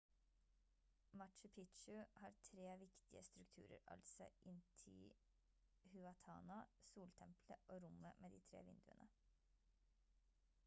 machu picchu har 3 viktige strukturer altså intihuatana soltempelet og rommet med de tre vinduene